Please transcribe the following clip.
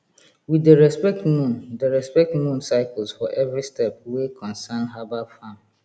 we dey respect moon dey respect moon cycles for every step wey concern herbal farm